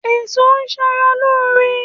Èso ń sara lóore